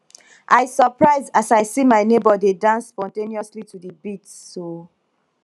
i surprise as i see my nebor dey dance spontaneously to the beats o